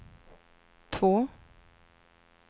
två